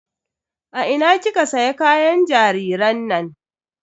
A ina kika siya kayan jariran nan?